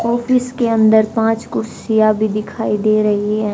Office के अंदर पांच कुर्सियां भी दिखाई दे रही हैं।